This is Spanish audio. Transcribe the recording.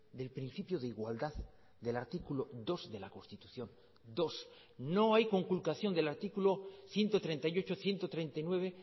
del principio de igualdad del artículo dos de la constitución dos no hay conculcación del artículo ciento treinta y ocho ciento treinta y nueve